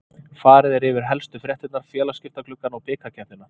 Farið er yfir helstu fréttirnar, félagaskiptagluggann og bikarkeppnina.